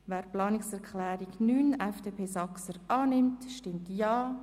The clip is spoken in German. Wer Planungserklärung 9 annehmen will, stimmt Ja.